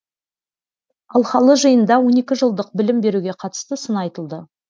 алқалы жиында он екі жылдық білім беруге қатысты сын айтылды